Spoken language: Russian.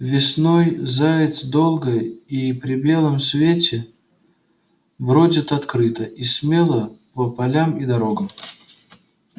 весной заяц долго и при белом свете бродит открыто и смело по полям и дорогам